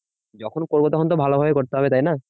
যখন করবো তখন তো ভালোভাবেই করতে হবে তাইনা